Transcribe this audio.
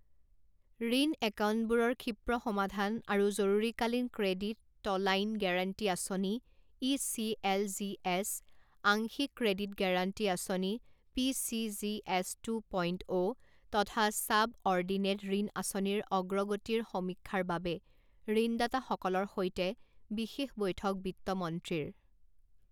ঋণ একাউণ্টবোৰৰ ক্ষীপ্ৰ সমাধান আৰু জৰুৰীকালীন ক্ৰেডিট টলাইন গেৰাণ্টী আঁচনি E C L G S, আংশিক ক্ৰেডিট গেৰাণ্টি আঁচনি P C G S two point O তথা ছাবঅৰ্ডিনেট ঋণ আঁচনিৰ অগ্ৰগতিৰ সমীক্ষাৰ বাবে ঋণদাঁতাসকলৰ সৈতে বিশেষ বৈঠক বিত্তমন্ত্ৰীৰ